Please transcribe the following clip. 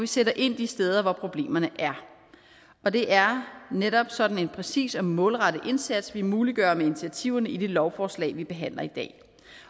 sætter ind de steder hvor problemerne er og det er netop sådan en præcis og målrettet indsats vi muliggør med initiativerne i det lovforslag vi behandler i dag